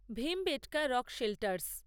Bhimbetka rock shelters